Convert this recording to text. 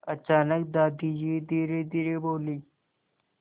अचानक दादाजी धीरेधीरे बोले